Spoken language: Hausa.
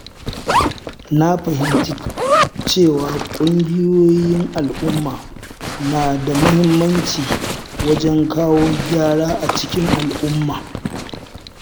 Na fahimci cewa ƙungiyoyin al’umma na da muhimmanci wajen kawo gyara a cikin al'umma.